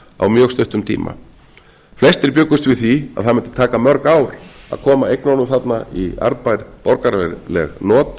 á mjög stuttum tíma flestir bjuggust við því að það mundi taka mörg ár að koma eignunum þarna í arðbær borgaraleg not